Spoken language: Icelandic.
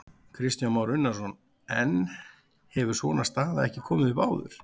Kristján Már Unnarsson: En hefur svona staða ekki komið upp áður?